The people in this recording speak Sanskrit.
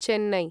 चेन्नै